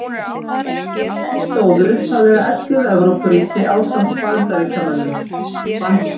Að því stóðu upphaflega ellefu Evrópuríki ásamt Bandaríkjunum.